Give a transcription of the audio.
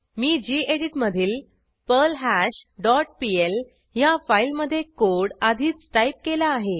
मी geditमधील पर्ल्हाश dot PL ह्या फाईलमध्ये कोड आधीच टाईप केला आहे